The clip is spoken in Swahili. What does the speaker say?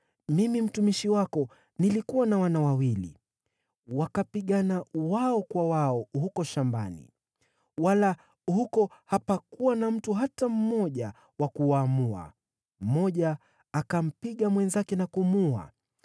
Mimi mtumishi wako nilikuwa na wana wawili. Wakapigana wao kwa wao huko shambani wala huko hapakuwa na mtu hata mmoja wa kuwaamua. Mmoja akampiga mwenzake na kumuua.